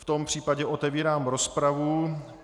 V tom případě otevírám rozpravu.